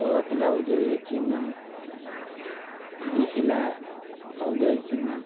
ലോക cup ൻറെ ഔദ്യോഗിക ചിഹ്നം രിഹ്ല ഔദ്യോഗിക ചിഹ്നം